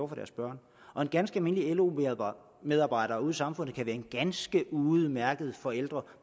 for deres børn og en ganske almindelig lo medarbejder ude i samfundet kan være en ganske udmærket forælder